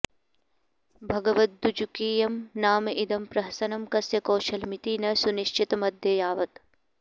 भगवदज्जुकीयं नाम इदं प्रहसनं कस्य कौशलमिति न सुनिश्चतमद्ययावत्